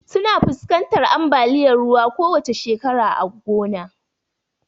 Suna fuskantar ambaliyar ruwa a kowacce shekara lokacin damuna.